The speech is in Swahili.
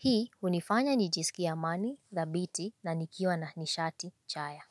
Hii unifanya nijisikie amani, dhabiti na nikiwa na nishati, chaya.